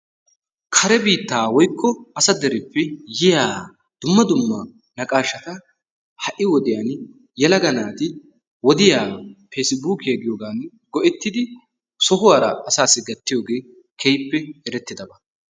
Kare biittaa woykko asa dereppe yiya dumma dumma naqaashshata ha"i wodiyan yelaga naati wodiya peesibuukiya giyogan go"ettidi sohuwara asaassi gattiyogee erettidaba.